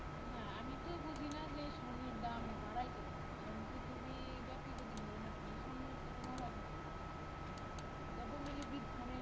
না আমি তো বুঝিনা যে স্বর্ণের দাম বাড়ায় কেন কারণ পৃথিবী ব্যাপী যদি ধরেন আপনি স্বর্ণের কোনো অভাব নাই গুলি যে